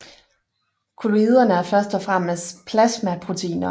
Kolloiderne er først og fremmest plasmaproteiner